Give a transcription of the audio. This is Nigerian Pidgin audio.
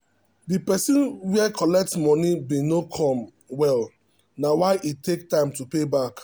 the um company don talk say make everybody dey save for 52weeks um say e um go help.